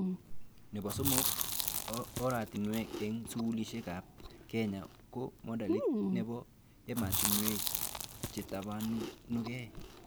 Nebo somok, oratinwek eng skulishekab Kenya ko modelit nebo ematiwek chetabanukee